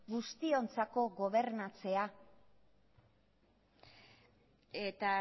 guztiontzako gobernatzea eta